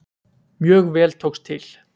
Mjög vel tókst til.